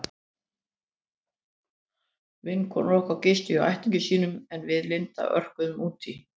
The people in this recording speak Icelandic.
Vinkonur okkar gistu hjá ættingjum sínum en við Linda örkuðum út í